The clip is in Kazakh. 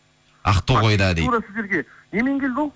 ақтоғайда дейді тура сіздерге немен келді ол